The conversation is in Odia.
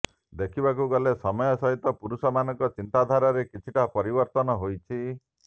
ଦେଖିବାକୁ ଗଲେ ସମୟ ସହିତ ପୁରୁଷମାନଙ୍କ ଚିନ୍ତାଧାରରେ କିଛିଟା ପରିବର୍ତ୍ତନ ହୋଇଛି